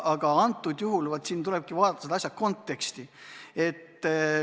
Aga antud juhul tuleb vaadata selle eelnõu konteksti.